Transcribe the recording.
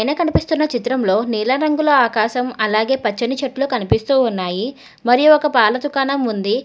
కనిపిస్తున్న చిత్రంలో నీల రంగుల ఆకాశం అలాగే పచ్చని చెట్లు కనిపిస్తూ ఉన్నాయి మరి ఒక పాల దుకాణం ఉంది.